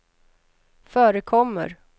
förekommer